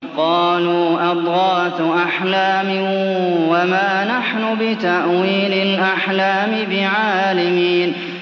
قَالُوا أَضْغَاثُ أَحْلَامٍ ۖ وَمَا نَحْنُ بِتَأْوِيلِ الْأَحْلَامِ بِعَالِمِينَ